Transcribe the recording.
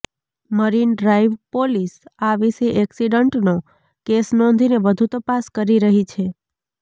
marine Drive police આ વિશે ઍક્સિડન્ટનો કેસ નોંધીને વધુ તપાસ કરી રહી છે